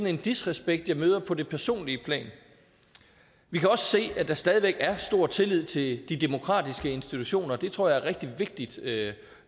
en disrespekt jeg møder på det personlige plan vi kan også se at der stadig væk er stor tillid til de demokratiske institutioner det tror jeg er rigtig vigtigt at